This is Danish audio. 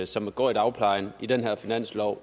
som går i dagpleje i den her finanslov